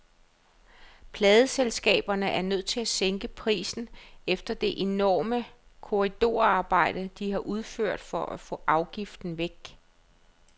Pladeselskaberne er nødt til at sænke prisen efter det enorme korridorarbejde, de har udført for at få afgiften væk.